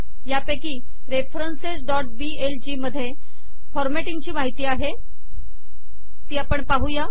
यापैकी referencesबीएलजी मध्ये फॉरमॅटिंगची माहिती आहे ती आपण पाहुया